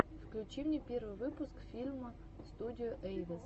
включи мне первый выпуск филма студио эйвэс